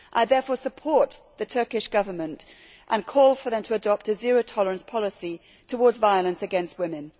I therefore support the Turkish Government and call on it to adopt a zero tolerance policy towards violence against women.